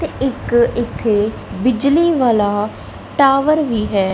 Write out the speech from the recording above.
ਤੇ ਇਕ ਇਥੇ ਬਿਜਲੀ ਵਾਲਾ ਟਾਵਰ ਵੀ ਹੈ।